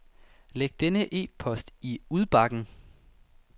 Læg denne e-post i udbakken.